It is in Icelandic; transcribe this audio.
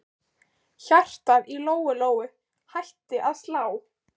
Hjartað í Lóu Lóu hætti að slá.